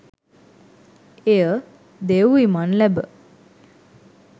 එය දෙව් විමන් ලැබ